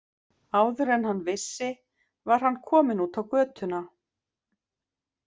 Áður en hann vissi var hann kominn út á götuna.